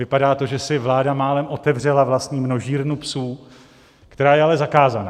Vypadá to, že si vláda málem otevřela vlastní množírnu psů, která je ale zakázaná.